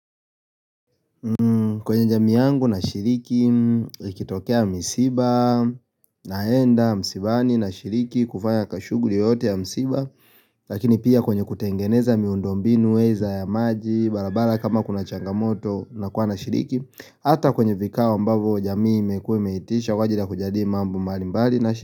Kwenye jamii yangu nashiriki ikitokea misiba naenda msibani nashiriki kufanya kashughuli yoyote ya msiba Lakini pia kwenye kutengeneza miundombinu weza ya maji barabara kama kuna changamoto nakuwa nashiriki Hata kwenye vikao ambavyo jamii imekuwe imeitisha maana ya kujadili mambo mbali mbali nashiriki.